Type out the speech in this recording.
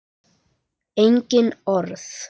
Engin orð.